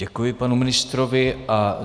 Děkuji panu ministrovi.